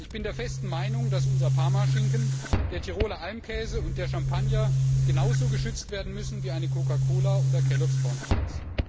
Ich bin der festen Meinung, dass unser Parmaschinken, der Tiroler Almkäse und der Champagner genauso geschützt werden müssen, wie eine Coca Cola oder Kellog's Corn Flakes.